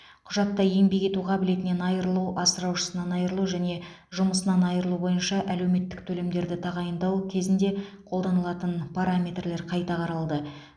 құжатта еңбек ету қабілетінен айырылу асыраушысынан айырылу және жұмысынан айырылу бойынша әлеуметтік төлемдерді тағайындау кезінде қолданылатын параметрлер қайта қаралды